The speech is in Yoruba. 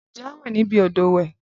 Ǹjẹ́ a o wẹ níbi odò ìwẹ̀?